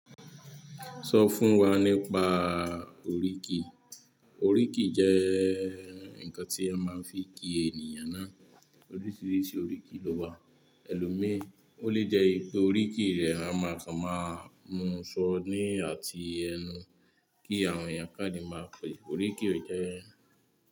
So fún wa nípa oríkì oríkì jẹ́ ǹkan tí a máa ń fi kí ènìyàn náà. Oríṣiríṣi oríkì ló wà. Ẹlòmíí, ó lè jẹ́ pé oríkì rẹ a máa sọ máa mú ṣọ ní àti ẹnu kí àwọn ènìyàn kánde máa pè ẹ́. Oríkì rẹ jẹ́ ẹ́.